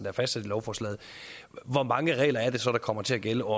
er fastsat i lovforslaget hvor mange regler er det så der kommer til at gælde og